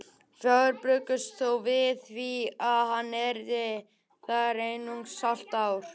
Fáir bjuggust þó við því að hann yrði þar í einungis hálft ár.